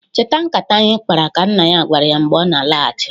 "Cheta nkata anyị kpara!" ka nna ya gwara ya mgbe ọ na-alachị.